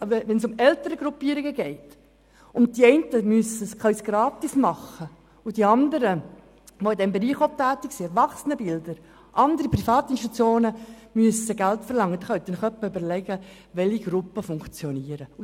Wenn es Elterngruppierungen gibt, die ihre Leistungen gratis anbieten können, aber gleichzeitig andere wie zum Bespiel Erwachsenenbildner und andere Organisationen, die auch in diesem Bereich tätig sind, Geld dafür verlangen müssen, können Sie sich überlegen, welche Gruppen erfolgreich sind.